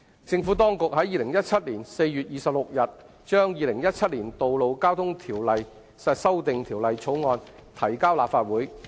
政府當局在2017年4月26日，將《2017年道路交通條例草案》提交立法會。